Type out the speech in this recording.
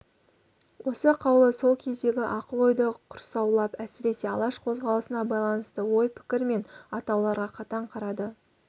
осы қаулы сол кездегі ақыл-ойды құрсаулап әсіресе алаш қозғалысына байланысты ой-пікір мен атауларға қатаң қарады